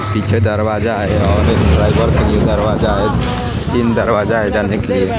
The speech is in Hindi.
पीछे दरवाजा है और एक ड्राइवर के लिए दरवाजा है तीन दरवाजा है जाने के लिए--